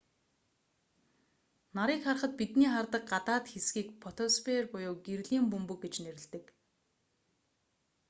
нарыг харахад бидний хардаг гадаад хэсгийг фотосфер буюу гэрлийн бөмбөг гэж нэрлэдэг